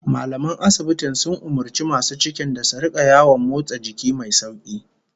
Mallaman asibitin sun umurci masu cikin da su rika yawan motsa jiki mai sauki